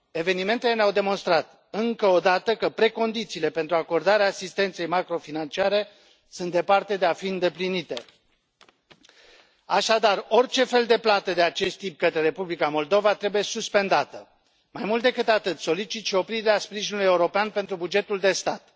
Evenimentele ne au demonstrat încă o dată că precondițiile pentru acordarea asistenței macrofinanciare sunt departe de a fi îndeplinite. Așadar, orice fel de plată de acest tip către Republica Moldova trebuie suspendată. Mai mult decât atât, solicit și oprirea sprijinului european pentru bugetul de stat.